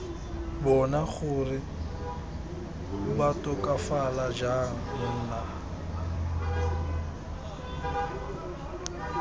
bona gore batokafala jang nna